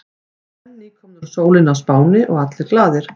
Menn nýkomnir úr sólinni á Spáni og allir glaðir.